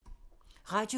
Radio 4